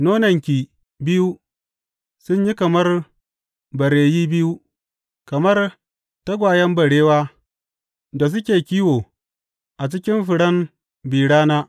Nonanki biyu sun yi kamar bareyi biyu, kamar tagwayen barewa da suke kiwo a cikin furen bi rana.